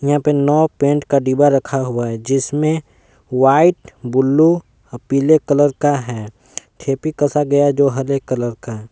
यहां पे नौ पेंट का डीबा रखा हुआ है जिसमें व्हाइट ब्लू पीले कलर का है ठेपी कसा गया है जो हरे कलर का है।